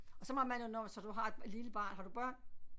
Og så måtte man jo når så du har et lille barn har du børn